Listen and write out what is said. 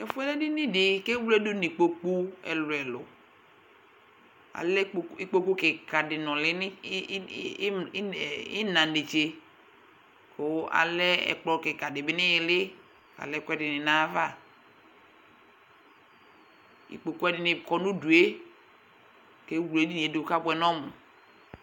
Tɛfuɛ lɛ edini di ,kewledu nikpoku ɛlu ɛluAlɛ ikpoku kika di nuli id, im, inɛ, ina nètso Kʋ alɛ ɛkplɔ kika dibi niili, kalɛ ɛkuɛdini nayavaIkpoku ɛdini kɔ nudueKewle edinie du kabuɛ nɔmu